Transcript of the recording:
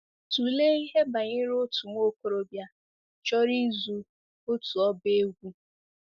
Tụlee ihe banyere otu nwa okorobịa chọrọ ịzụ otu ọba egwú.